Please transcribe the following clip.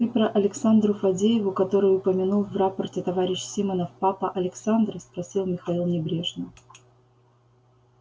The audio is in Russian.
ты про александру фадееву которую упомянул в рапорте товарищ симонов папа александра спросил михаил небрежно